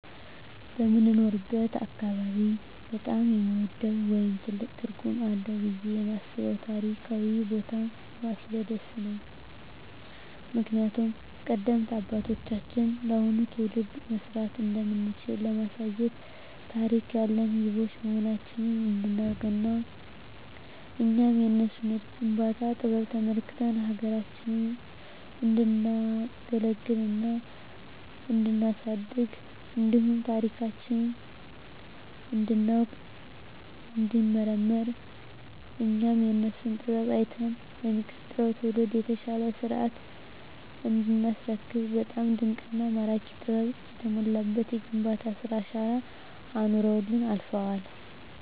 በምኖርበት አካባቢ በጣም የምወደው ወይም ትልቅ ትርጉም አለዉ ብየ የማስበው ታሪካዊ ቦታ ፋሲለደስ ነው። ምክንያቱም ቀደምት አባቶቻችን ለአሁኑ ትውልድ መስራት እንደምንችል ለማሳየት ታሪክ ያለን ህዝቦች መሆናችንን እንዲናውቅና እኛም የነሱን የግንባታ ጥበብ ተመልክተን ሀገራችንን እንዲናገለግልና እንዲናሳድግ እንዲሁም ታሪካችንን እንዲናውቅ እንዲንመራመር እኛም የነሱን ጥበብ አይተን ለሚቀጥለው ትውልድ የተሻለ ሰርተን እንዲናስረክብ በጣም ድንቅና ማራኪ ጥበብ የተሞላበት የግንባታ ስራ አሻራ አኑረውልን አልፈዋል።